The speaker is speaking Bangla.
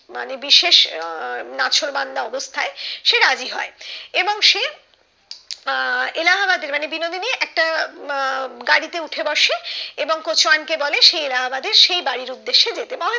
মানে বিশেষ আহ নাছোড়বান্দা অবস্থায় সে রাজি হয় এবং সে আহ এলাহাবাদের মানে বিনোদিনী একটা আহ গাড়িতে উঠে বসে এবং বলে সে এলাহাবাদের সেই বাড়ির উদ্যেশ্যে যেতে